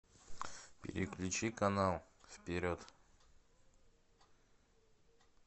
переключи канал вперед